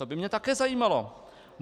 To by mě také zajímalo.